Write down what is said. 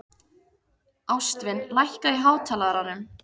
Ástvin, lækkaðu í hátalaranum.